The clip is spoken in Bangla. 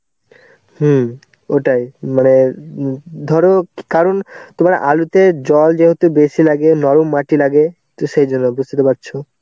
হম, ওটাই. মানে উম ধরো কারণ তোমার আলুতে জল যেহেতু বেশি লাগে, নরম মাটি লাগে তো সেই জন্য বুঝতে পারছো.